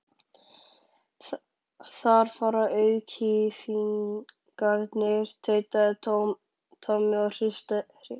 Þar fara auðkýfingarnir, tautaði Tommi og hristi hausinn.